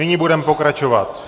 Nyní budeme pokračovat.